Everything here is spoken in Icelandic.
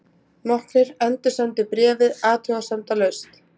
Nokkrir endursendu bréfið athugasemdalaust.